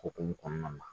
Okumu kɔnɔna na